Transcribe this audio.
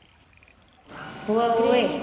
ઓવે ઓવે